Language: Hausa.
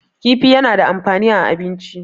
kifi yana da amfani a abinci